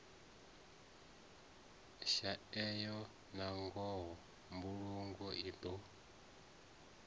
shaeya nangoho mbulungo i do